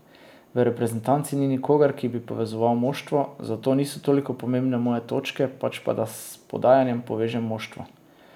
V reprezentanci ni nikogar, ki bi povezoval moštvo, zato niso toliko pomembne moje točke, pač pa da s podajami povežem moštvo.